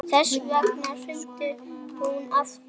Þess vegna hringdi hún aftur.